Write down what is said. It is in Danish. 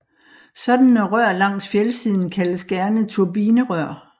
Sådanne rør langs fjeldsiden kaldes gerne turbinerør